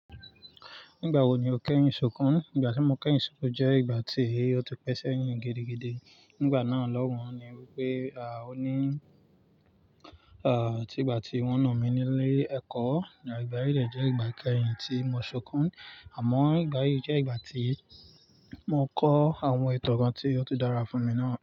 Nígbà wo ni o kẹ́yìn sọkún? Ìgbà tí mo kẹ́yìn sọkún jẹ́ ìgbà tí ó ti pẹ́sẹ̀ yín gidigide. Nígbà náà lọ́un ni wípé, à, ó ní, à, tígbà tí wọ́n na mí nílé ẹ̀kọ́. Ìgbà yíì dẹ̀ jẹ́ ìgbà kẹ́yìn tí mo sọkún. Àmọ́ ìgbà yíì jẹ́ ìgbà tí mo kọ́ àwọn ìtàn kan tí ó ti dára fún mi náà.